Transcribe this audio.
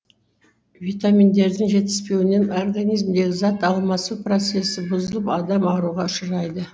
витаминдердің жетіспеуінен организмдегі зат алмасу процесі бұзылып адам ауруға ұшырайды